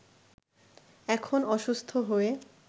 এখন অসুস্থ হয়ে